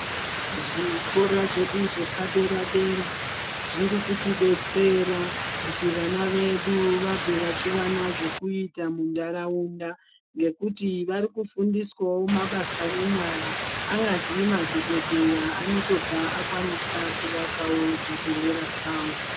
Zvikora zvedu zvepadera-dera, zviri kutidetsera kuti vana vedu vabve vachiwana zvokuita muntaraunda, ngekuti vari kufundiswawo mabasa enyara. Anyazi madhokodheya anotobva akwanisa kuvakawo zvibhedhlera zvawo.